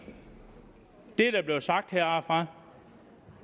det der blev sagt heroppefra